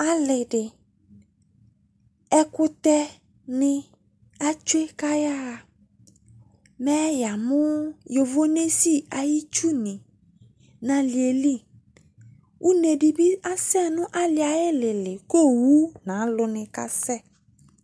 Ale de, ɛkutɛ ne atsue ko ayaha Mɛ yamo yovonesi ayetsu ne no aleɛ li Une de be asɛ no aleɛ aye lele ko owu no alu ne kasɛ